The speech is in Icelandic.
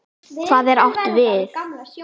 Hvað er átt við?